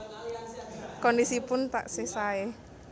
Kondisipun taksih sae